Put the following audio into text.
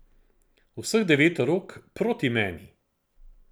Vseh devet rok proti meni.